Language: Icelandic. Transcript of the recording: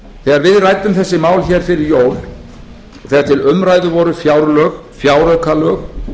þegar við ræddum þessi mál hér fyrir jól þegar til umræðu voru fjárlög fjáraukalög